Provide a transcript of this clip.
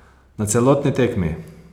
Na celotni tekmi!